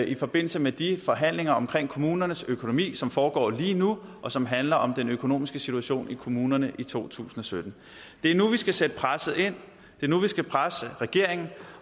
i forbindelse med de forhandlinger om kommunernes økonomi som foregår lige nu og som handler om den økonomiske situation i kommunerne i to tusind og sytten det er nu vi skal sætte presset ind det er nu vi skal presse regeringen